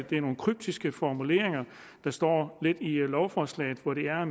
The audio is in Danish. det er nogle kryptiske formuleringer der står i lovforslaget hvor det jo